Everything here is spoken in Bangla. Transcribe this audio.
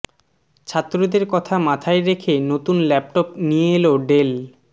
ছাত্রদের কথা মাথায় রেখে নতুন ল্যাপটপ নিয়ে এল ডেল